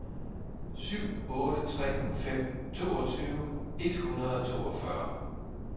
syv otte tre fem toogtyve et hundrede og toogfyrre